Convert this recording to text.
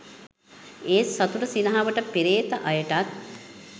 ඒත් සතුට සිනහවට පෙරේත අයටත්